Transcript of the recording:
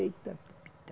Eita!